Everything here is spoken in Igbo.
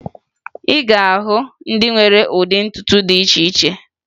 Ị ga-ahụ ndị nwere ụdị ntutu dị iche iche na Naịjirịa